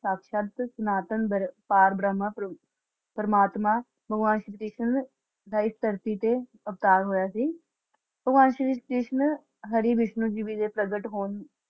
ਸਾਕਸ਼ਾਤ ਸਨਾਤਨ ਬਾਰ~ ਪਾਰ ਬ੍ਰਹਮਾ ਪ੍ਰਬ~ ਪਰਮਾਤਮਾ ਭਗਵਾਨ ਸ਼੍ਰੀ ਕ੍ਰਿਸ਼ਨ ਦਾ ਇਸ ਧਰਤੀ ਤੇ ਅਵਤਾਰ ਹੋਇਆ ਸੀ। ਭਗਵਾਨ ਸ਼੍ਰੀ ਕ੍ਰਿਸ਼ਨ ਹਰਿ ਵਿਸ਼ਨੂੰ ਜੀ ਵੇ ਦੇ ਪ੍ਰਗਟ ਹੋਣ